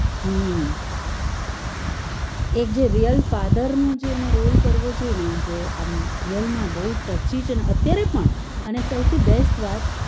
હમ એક જે real father નો જેને રોલ કરવો જોએ જે આમ એ real માં બહુ ટચી છે અત્યારે પણ અને સોથી best વાત